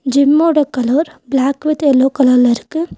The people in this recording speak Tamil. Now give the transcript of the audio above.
ஜிம் மோட colour black with yellow colour ல இருக்கு.